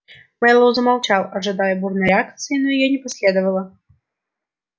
мэллоу замолчал ожидая бурной реакции но её не последовало